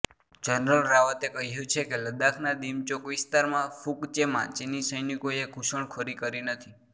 general રાવતે કહ્યુ છે કે લડાખના દિમચોક વિસ્તારમાં ફુક ચેમાં ચીની સૈનિકોએ ઘૂસણખોરી કરી નથી